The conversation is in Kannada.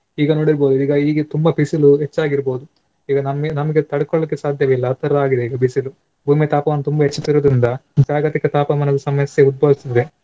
ಈಗ ನೋಡಿರ್ಬಹುದು ಈಗ ಈಗ ತುಂಬಾ ಬಿಸಿಲು ಹೆಚ್ಚಾಗಿರ್ಬಹುದು ಈಗ ನಮ್ಗೆ ನಮ್ಗೆ ತಡ್ಕೊಳ್ಳಿಕ್ಕೆ ಸಾಧ್ಯವಿಲ್ಲ ಆ ತರ ಆಗಿದೆ ಈಗ ಬಿಸಿಲು. ಒಮ್ಮೆ ತಾಪವನ್ನು ತುಂಬಾ ಹೆಚ್ಚುದರಿಂದ ಜಾಗತಿಕ ತಾಪಮಾನದ ಸಮಸ್ಯೆ ಉದ್ಭವಿಸ್ತದೆ.